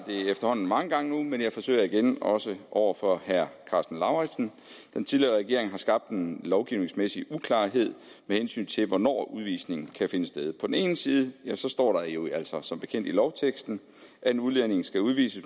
efterhånden mange gange nu men jeg forsøger igen også over for herre karsten lauritzen den tidligere regering har skabt en lovgivningsmæssig uklarhed med hensyn til hvornår udvisning kan finde sted på den ene side står der jo altså som bekendt i lovteksten at en udlænding skal udvises